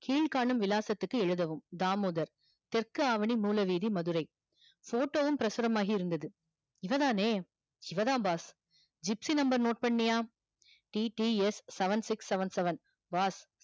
கீழ்காணும் விலாசத்துக்கு எழுதவும் தாமுதர் தெற்கு ஆவணி மூலவீதி மதுரை photo வும் மாகி இருந்தது இவ தானே இவதா boss gypsy number note பண்ணியா TTSseven six seven seven boss